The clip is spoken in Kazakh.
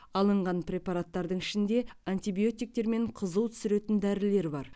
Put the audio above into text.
алынған препараттардың ішінде антибиотиктер мен қызу түсіретін дәрілер бар